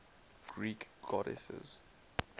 greek goddesses